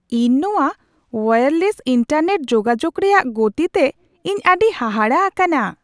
ᱤᱧ ᱱᱚᱣᱟ wireless internet ᱡᱳᱜᱟᱡᱳᱜ ᱨᱮᱭᱟᱜ ᱜᱚᱛᱤᱛᱮ ᱤᱧ ᱟᱹᱰᱤ ᱦᱟᱦᱟᱲᱟ ᱟᱠᱟᱱᱟ ᱾